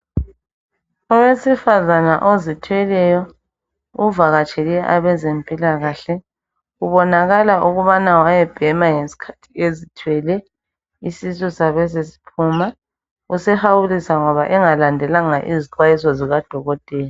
owesifazana ozithweleyo uvakatshele abezempilakahle kubonakala ukubana wayebhema ngesikhathi ezithwele isisu sabesesiphuma usehawulisa ngoba engalandelanga izixwayiso zikadokotela